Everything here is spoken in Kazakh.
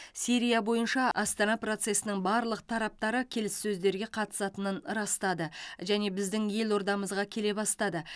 сирия бойынша астана процесінің барлық тараптары келіссөздерге қатысатынын растады және біздің елордамызға келе бастады